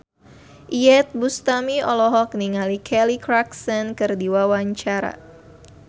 Iyeth Bustami olohok ningali Kelly Clarkson keur diwawancara